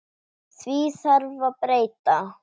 Því þarf að breyta.